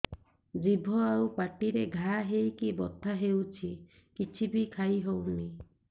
ଜିଭ ଆଉ ପାଟିରେ ଘା ହେଇକି ବଥା ହେଉଛି କିଛି ବି ଖାଇହଉନି